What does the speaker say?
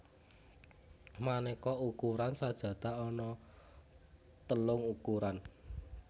Manéka ukuran sajadah ana telung ukuran